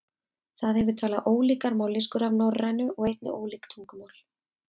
Það hefur talað ólíkar mállýskur af norrænu og einnig ólík tungumál.